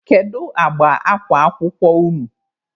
Kedụ agba akwa akwụkwọ unu?